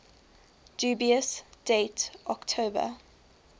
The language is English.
dubious date october